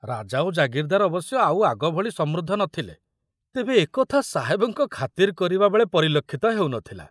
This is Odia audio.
ରାଜା ଓ ଜାଗିରଦାର ଅବଶ୍ୟ ଆଉ ଆଗ ଭଳି ସମୃଦ୍ଧ ନ ଥିଲେ, ତେବେ ଏକଥା ସାହେବଙ୍କ ଖାତିର କରିବା ବେଳେ ପରିଲକ୍ଷିତ ହେଉ ନ ଥିଲା।